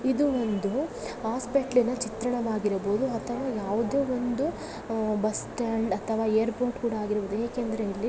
ಇದು ಒಂದು ಹಾಸ್ಪಿಟಲ್ ನ ಚಿತ್ರಣ ಆಗಿರಬಹುದು ಅಥವಾ ಯಾವುದೇ ಒಂದು ಬಸ್ಟ್ಯಾಂಡ್ ಅಥವಾ ಏರ್ಪೋರ್ಟ್ ಕೂಡ ಆಗಿರಬಹುದು ಏಕೆಂದರೆ ಇಲ್ಲಿ --